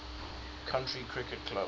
county cricket club